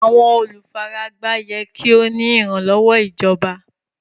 Àwọn olúfáràgbá yẹ́ kí o ní ìranlọ́wọ̀ ìjọ̀bà.